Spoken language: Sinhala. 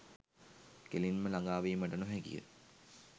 කෙලින්ම ළඟා වීමට නොහැකි ය.